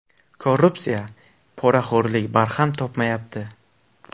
Korrupsiya, poraxo‘rlik barham topmayapti.